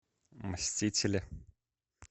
мстители